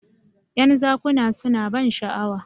"yan zakuna suna ban sha'awa